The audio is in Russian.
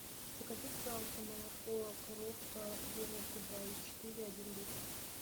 закажи пожалуйста молоко коровка жирностью два и четыре один литр